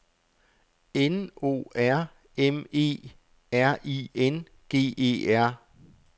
N O R M E R I N G E R